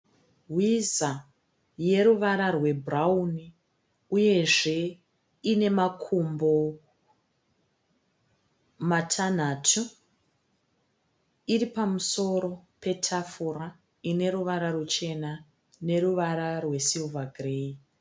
Hwiza yeruvara rwebhurauni uyezve ine makumbo matanhatu. Iri pamusoro petafura ine ruvara ruchena neruvara rwesirivha gireyi.